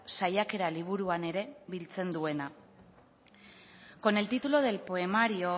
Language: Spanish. saiakera liburuan ere biltzen duena con el título del poemario